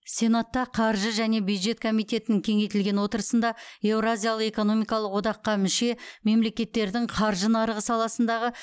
сенатта қаржы және бюджет комитетінің кеңейтілген отырысында еуразиялық экономикалық одаққа мүше мемлекеттердің қаржы нарығы саласындағы